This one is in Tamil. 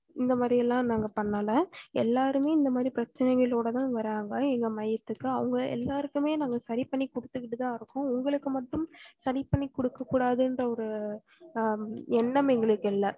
இந்த மாரி எல்லாம் நாங்க பண்ணல எல்லாருமே இந்த மாறி பிரச்சனைகளஒட தான் வராங்க எங்களோட மையத்துக்கு அவங்க எல்லாருக்குமே நாங்க சரி பண்ணி குடுத்துட்டு தான் இருக்கோம் உங்களக்கு மட்டும் சரி பண்ணி குடுக்க கூடாதுன்ற ஒரு ஹம் எண்ணம் எங்களுக்கு இல்ல